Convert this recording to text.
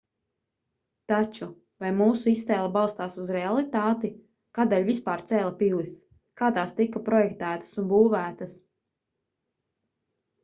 taču vai mūsu iztēle balstās uz realitāti kādēļ vispār cēla pilis kā tās tika projektētas un būvētas